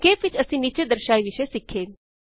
ਸਂਖੇਪ ਵਿੱਚ ਅਸੀਂ ਨੀਚੇ ਦਰਸਾਏ ਵਿਸ਼ੇ ਸਿੱਖੇ